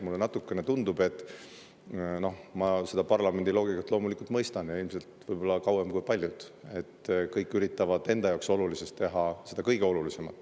Mulle natukene tundub, kuna ma seda parlamendi loogikat loomulikult mõistan, olles ilmselt kauem kui paljud siin, et kõik üritavad enda jaoks olulisest teha seda kõige olulisemat.